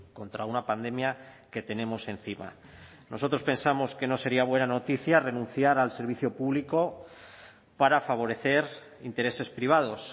contra una pandemia que tenemos encima nosotros pensamos que no sería buena noticia renunciar al servicio público para favorecer intereses privados